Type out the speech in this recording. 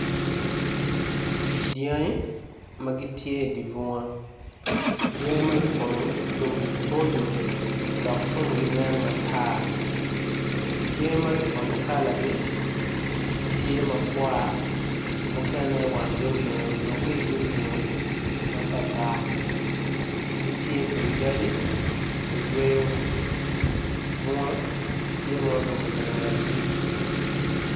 Dyangi magitye i dibunga dyangi magi kono tungi boco dok tungi nen matar dyangi magi kono kalagi tye ma tar mukene wanggi olingo onyo wigi olingo matartar gitye i kin yadi kayweo bunga tye ma orumo kangetgi.